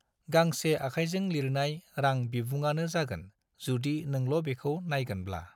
गांसे आखायजों लिरनाय रां बिबुङानो जागोन जुदि नोंल' बेखौ नायगोनब्ला।